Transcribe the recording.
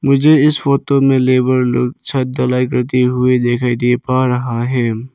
मुझे इस फोटो में लेबर लोग छत ढलाई करते हुई दिखाई दे पा रहा है।